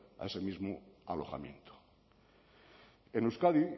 a ese mismo alojamiento en euskadi